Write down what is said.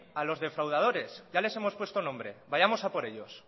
a los defraudadores ya les hemos puesto nombre vayamos a por ellos